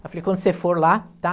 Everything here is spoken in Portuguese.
Eu falei, quando você for lá, tá?